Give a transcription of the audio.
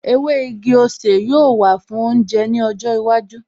Ewé igi-osè yóò wà fún oúnjẹ ní ọjọ́ iwájú